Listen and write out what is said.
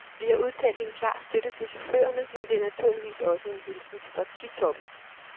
Vi har udtalt en klar støtte til chaufførerne, men det er naturligvis også en hilsen til partitoppen.